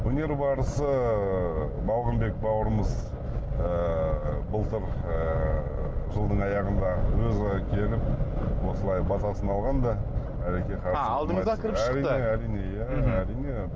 өнер барысы ыыы балғынбек бауырымыз ыыы былтыр ыыы жылдың аяғында өзі келіп осылай батасын алған да ааа алдыңызға кіріп шықты әрине әрине иә әрине